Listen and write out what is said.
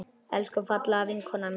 Elsku fallega vinkona mín.